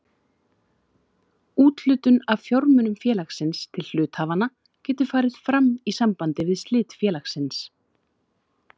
Úthlutun af fjármunum félagsins til hluthafanna getur farið fram í sambandi við slit félagsins.